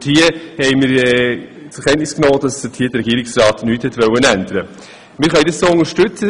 Wir haben zur Kenntnis genommen, dass der Regierungsrat an der Verfassung nichts ändern wollte.